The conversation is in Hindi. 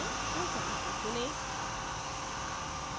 उन सभी को चुनें